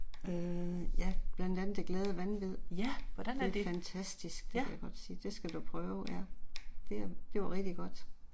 Øh ja, blandt andet Det Glade Vanvid, det er fantastisk det kan jeg godt sige, det skal du prøve, ja det er det var rigtig godt